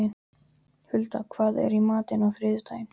Huldar, hvað er í matinn á þriðjudaginn?